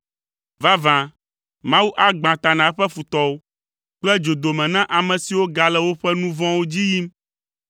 Vavã, Mawu agbã ta na eƒe futɔwo kple dzodome na ame siwo gale woƒe nu vɔ̃wo dzi yim.